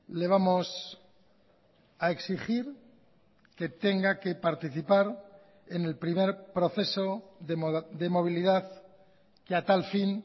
le vamos a exigir que tenga que participar en el primer proceso de movilidad que a tal fin